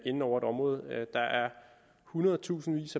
inde over et område der er hundredtusindvis